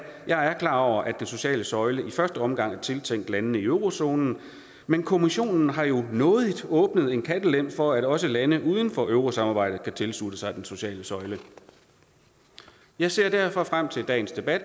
klar over at den sociale søjle i første omgang er tiltænkt landene i eurozonen men kommissionen har jo nådigt åbnet en kattelem for at også lande uden for eurosamarbejdet kan tilslutte sig den sociale søjle jeg ser derfor frem til dagens debat